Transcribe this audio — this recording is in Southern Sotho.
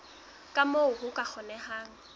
ka moo ho ka kgonehang